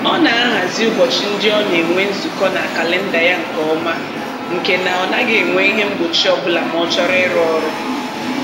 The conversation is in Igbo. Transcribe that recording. Ọ na-ahazi ụbọchị ndị ọ na-enwe nzukọ na kalịnda ya nke ọma nke na ọ gaghị enwe ihe mgbochi ọbụla ma ọ chọrọ ịrụ ọrụ